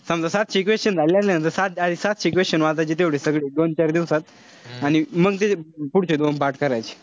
समजा सातशे question झाले ना. सात सातशे question वाचायचे तेवढे सगळे दोन चार दिवसात. आणि मंग ते पुढचे दोन पाठ करायचे.